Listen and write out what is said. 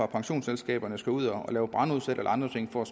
pensionsselskaberne skal ud og lave brandudsalg eller andre ting for